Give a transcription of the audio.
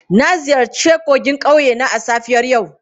Na ziyarci kogin ƙauye na a safiyar yau.